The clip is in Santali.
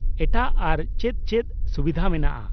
-ᱮᱴᱟᱜ ᱟᱨᱚ ᱪᱮᱫ ᱪᱮᱫ ᱥᱩᱵᱤᱫᱷᱟ ᱢᱮᱱᱟᱜᱼᱟ ?